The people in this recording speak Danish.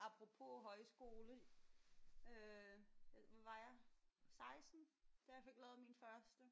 Apropos højskole øh hvad var jeg? 16? Da jeg fik lavet min første